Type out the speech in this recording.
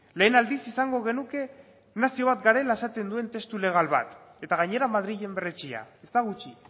lehen aldiz izango genuke nazio bat garela esaten duen testu legal bat eta gainera madrilen berretsia ez da gutxi